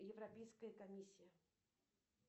европейская комиссия